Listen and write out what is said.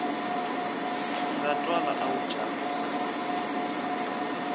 nga twala a wu chavisa